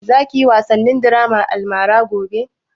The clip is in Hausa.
Za ka yi wasan draman almara gobe?